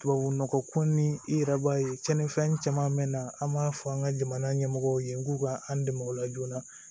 Tubabu nɔgɔ ko ni i yɛrɛ b'a ye cɛnnifɛn caman be na an b'a fɔ an ka jamana ɲɛmɔgɔw ye k'u ka an dɛmɛ o la joona